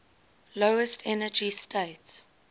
lowest energy state